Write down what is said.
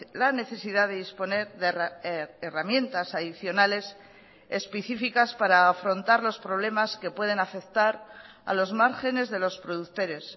la necesidad de disponer de herramientas adicionales especificas para afrontar los problemas que pueden afectar a los márgenes de los productores